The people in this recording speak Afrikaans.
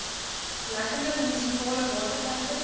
lekkende munisipale waterpype